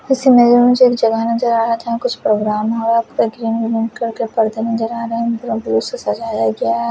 उसी में जो मुझे एक जगह नजर आ रहा कुछ प्रोग्राम हो रहा था सझाया गया है।